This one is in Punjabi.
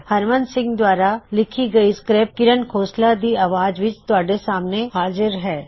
ਹਰਮਨ ਸਿੰਘ ਦੁਆਰਾ ਲਿੱਖੀ ਇਹ ਸਕ੍ਰਿਪਟ ਦੀ ਆਵਾਜ਼ ਵਿਚ ਤੁਹਾਡੇ ਸਾਹਮਣੇ ਹਾਜ਼ਿਰ ਹੋਈ